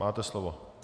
Máte slovo.